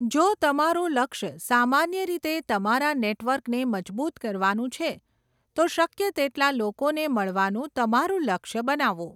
જો તમારું લક્ષ્ય સામાન્ય રીતે તમારા નેટવર્કને મજબૂત કરવાનું છે, તો શક્ય તેટલા લોકોને મળવાનું તમારું લક્ષ્ય બનાવો.